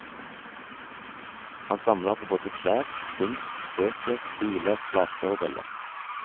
Han samler på både klær, kunst, bøker, biler, plater og briller.